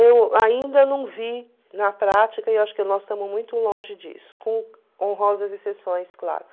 Eu ainda não vi na prática, e acho que nós estamos muito longe disso, com honrosas exceções, claro.